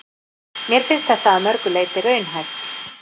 Mér finnst þetta að mörgu leyti raunhæft.